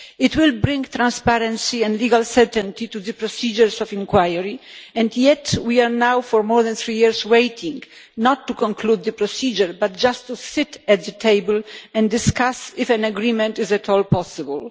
It will bring transparency and legal certainty to the procedures of inquiry, and yet we have been waiting now for more than three years, not to conclude the procedure but just to sit at the table and discuss whether an agreement is at all possible.